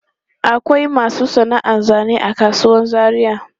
Akwai masu sana'an zane a kasuwan Zaria.